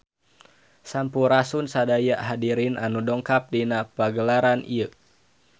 Sampurasun sadaya hadirin anu dongkap dina pagelaran ieu